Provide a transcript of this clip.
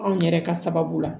Anw yɛrɛ ka sababu la